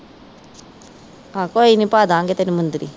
ਆਹੋ ਕੋਈ ਨਹੀਂ ਪਾਦਾਗੇ ਤੈਨੂੰ ਮੁੰਦਰੀ।